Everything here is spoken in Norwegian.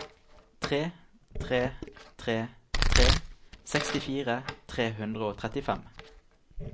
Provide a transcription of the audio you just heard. tre tre tre tre sekstifire tre hundre og trettifem